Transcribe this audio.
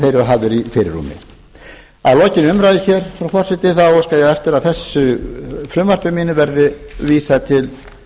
eru hafðir í fyrirrúmi að lokinni umræðu hér frú forseti óska ég eftir að þessu frumvarpi mínu verði vísað til